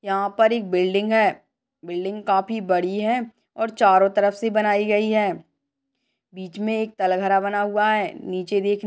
यहाँ पर एक बिल्डिंग है बिल्डिंग काफी बड़ी है और चारों तरफ से बनाई गई है बीच मे एक तल घरा बना हुआ है। नीचे देखने--